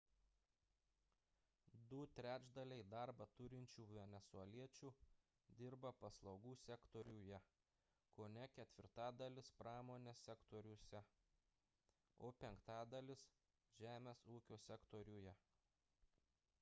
du trečdaliai darbą turinčių venesueliečių dirba paslaugų sektoriuje kone ketvirtadalis – pramonės sektoriuose o penktadalis – žemės ūkio sektoriuje